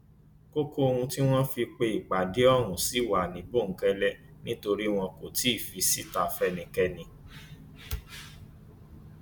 kókó ohun tí wọn fi pe ìpàdé ọhún ṣì wà ní bòńkẹlẹ nítorí wọn kò tí ì fi síta fẹnikẹni